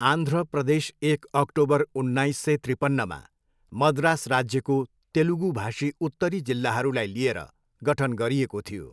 आन्ध्र प्रदेश एक अक्टोबर उन्नाइस सय त्रिपन्नमा मद्रास राज्यको तेलुगुभाषी उत्तरी जिल्लाहरूलाई लिएर गठन गरिएको थियो।